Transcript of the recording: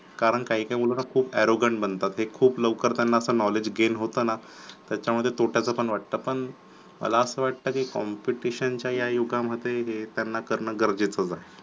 कारण काही काही मुलना खूप arrogant बनतात, ते खूप लवकर त्यांना knowledge gain होतं ना त्याच्यामध्ये तोट्याचा पण वाटतं पण मला असं वाटतं की competition च्या या युगामध्ये हे त्यांना करणं गरजेचं आहे